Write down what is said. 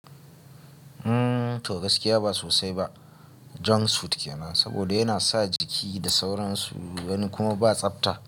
To gaskiya ba sosai ba junk food ke nan saboda yana sa jiki da sauransu wani kuma ba tsafta.